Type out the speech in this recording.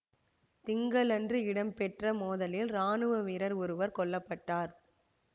திங்களன்று இடம்பெற்ற மோதலில் இராணுவ வீரர் ஒருவர் கொல்ல பட்டார்